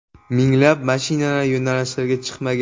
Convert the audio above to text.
Minglab mashinalar yo‘nalishlarga chiqmagan.